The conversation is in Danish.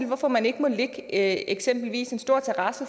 hvorfor man ikke må lægge eksempelvis en stor terrasse